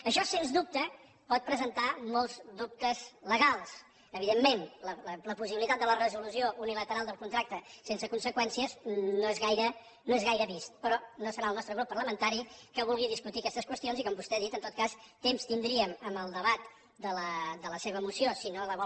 això sens dubte pot presentar molts dubtes legals evidentment la possibilitat de la resolució unilateral del contracte sense conseqüències no és gaire vist però no serà el nostre grup parlamentari el que vulgui discutir aquestes qüestions i com vostè ha dit en tot cas temps tindríem en el debat de la seva moció si no la vol